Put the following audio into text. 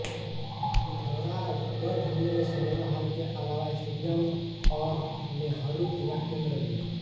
पिथौरागढ़ में cinema hall के अलावा स्टेडियम औरनेहरु युवा केन्द्र भी है